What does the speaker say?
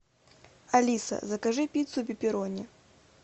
алиса закажи пиццу пепперони